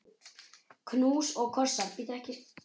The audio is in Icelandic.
Knús og kossar.